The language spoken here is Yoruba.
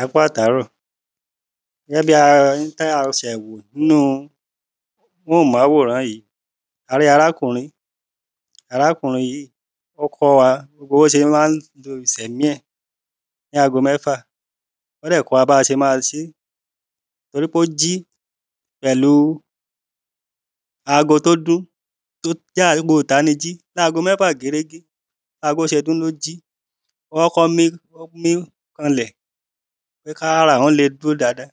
Ẹkú àtàárọ̀? nínú móhùnmáworán yìí a rí arákùnrin arákùnrin yìí ó kọ́ wa bọ́ sé má ń? ní ago mẹ́fà ó dẹ̀ kọ́ wa bá sẹ má sé torí pó jí pẹ̀lú ago tó dún tó jágo ìtaníjí láago mẹ́fà gérégé bágo ṣe dún ló jí. Wọ́n á kọ́ mí á mí kanlẹ̀ pé kára àwọn le dúó dáada